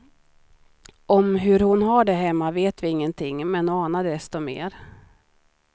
Om hur hon har det hemma vet vi ingenting, men anar desto mer.